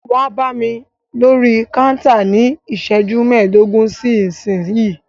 Wá bámi lórí kántà ní iṣẹ́jú mẹdogun sí ìsínyìí!